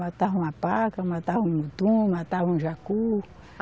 Matava uma paca, matava um mutum, matava um jacu.